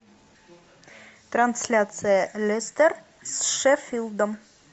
трансляция лестер с шеффилдом